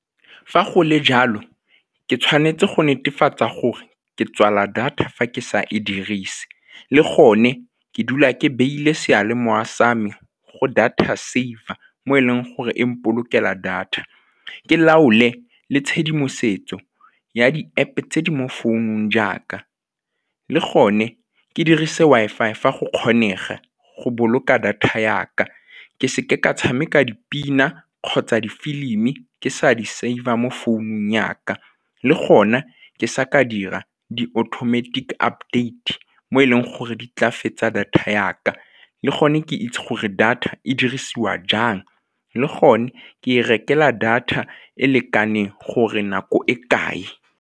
Fa go le jalo, ke tshwanetse go netefatsa gore ke tswala data fa ke sa e dirise le gone ke dula ke beile seyalemoya sa me go data saver mo e leng gore e molpolokela data, ke laole le tshedimosetso ya di-App-e tse di mo founung jaaka le gone ke dirise Wi-Fi fa go kgonega go boloka data ya ka ke seke ka tshameka dipina kgotsa difilimi ke sa di save-a mo founung ya ka le gone ke sa ka dira di-automatic update mo e leng gore di tla fetsa data ya ka le gone ke itse gore data e dirisiwa jang le gone ke e rekela data e lekaneng gore nako e kae.